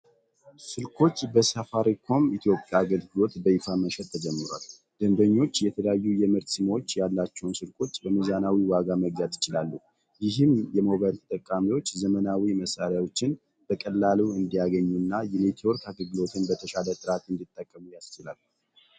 ስልኮች በሳፋሪኮም ኢትዮጵያ አገልግሎት በይፋ መሸጥ ተጀምሯል። ደንበኞች የተለያዩ የምርት ስሞች ያላቸውን ስልኮች በሚዛናዊ ዋጋ መግዛት ይችላሉ። ይህም የሞባይል ተጠቃሚዎች ዘመናዊ መሣሪያዎችን በቀላሉ እንዲያገኙና የኔትወርክ አገልግሎቱን በተሻለ ጥራት እንዲጠቀሙ ያስችላል።